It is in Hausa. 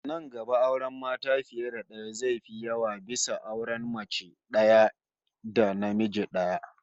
Nan gaba auren mata fiye da daya zai fi yawa bisa auren mace daya da namiji daya